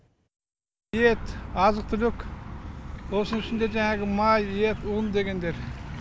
ет азық түлік осының ішінде жәңағы май ет ұн дегендер